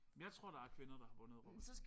Jeg tror der er kvinder der har vundet Robinson